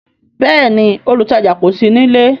Bẹẹni, olutaja kò sí nílé